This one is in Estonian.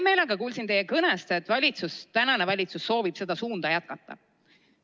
Mul oli hea meel teie kõnest kuulda, et praegune valitsus soovib seda suunda jätkata.